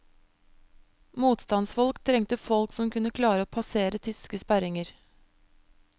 Motstandsfolk trengte folk som kunne klare å passere tyske sperringer.